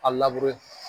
A